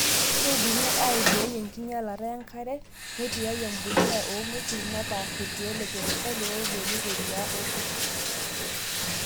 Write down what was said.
Keidimi aibooi enkinyialata enkare teneituyai empuliya oong'wesin nepaashi irkiek le kemikal ooiborieki eriyiaa orkurt.